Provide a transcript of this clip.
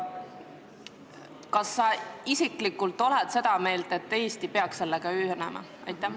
Kas sa isiklikult oled seda meelt, et Eesti peaks sellega ühinema?